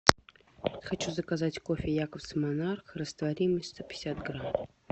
хочу заказать кофе якобс монарх растворимый сто пятьдесят грамм